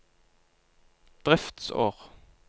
driftsår